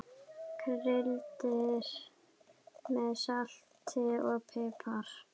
Kryddið með salti og pipar.